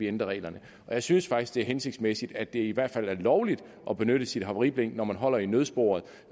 ændre reglerne og jeg synes faktisk det er hensigtsmæssigt at det i hvert fald er lovligt at benytte sit havariblink når man holder i nødsporet